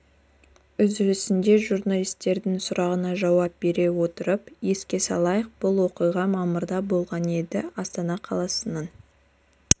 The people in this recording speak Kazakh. үзілісінде журналистердің сұрағына жауап бере отырып еске салайық бұл оқиға мамырда болған еді астана қаласының